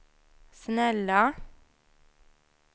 snälla